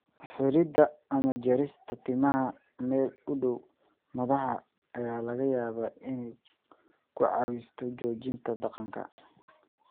Xiiridda ama jarista timaha meel u dhow madaxa ayaa laga yaabaa inay ku caawiso joojinta dhaqanka.